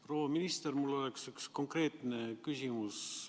Proua minister, mul on üks konkreetne küsimus.